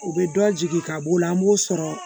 U bɛ dɔ jigi ka b'o la an b'o sɔrɔ